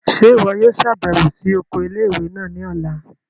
Ṣe iwọ yoo ṣabẹwo si oko ile-iwe naa ni ọla?